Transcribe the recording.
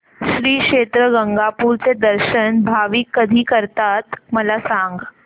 श्री क्षेत्र गाणगापूर चे दर्शन भाविक कधी करतात मला सांग